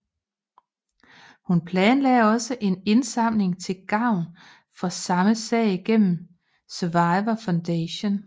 Hun planlagde også en indsamling til gavn for samme sag gennem Survivor Foundation